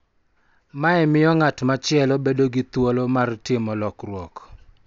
Mae miyo ng�at machielo bedo gi thuolo mar timo lokruok,